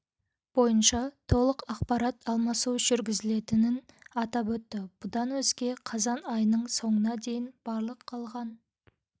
бойынша толық ақпарат алмасу жүргізілетінін атап өтті бұдан өзге қазан айының соңына дейін барлық қалған